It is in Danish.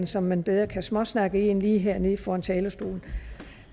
som man bedre kan småsnakke i end lige hernede foran talerstolen